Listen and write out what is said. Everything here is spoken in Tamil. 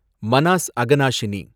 மனாஸ் அகனாஷினி